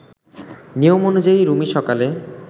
নিয়ম অনুযায়ী রুমি সকালে